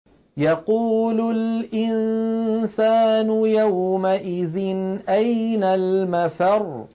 يَقُولُ الْإِنسَانُ يَوْمَئِذٍ أَيْنَ الْمَفَرُّ